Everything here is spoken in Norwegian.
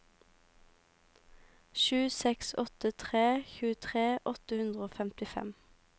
sju seks åtte tre tjuetre åtte hundre og femtifem